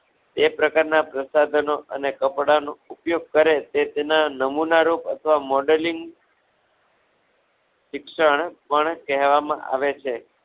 એક પ્રકારના પ્રસાધનો અને કપડાં નો ઉપયોગ કરે તે તેનો નમૂના રૂપ અથવા Modeling શિક્ષણ પણ કહેવામા આવે છે.